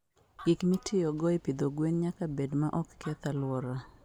Gik mitiyogo e pidho gwen nyaka bed ma ok keth alwora.